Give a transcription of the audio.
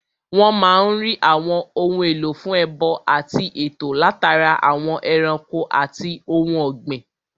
Wọ́n máa n rí àwọn ohun èlò fún ẹbọ àti ètò látara àwọn ẹranko àti ohun ògbìn